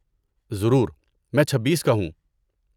ضرور، میں چھبیس کا ہوں